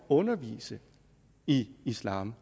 at undervise i islam